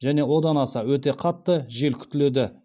және одан аса өтте қатты жел күтіледі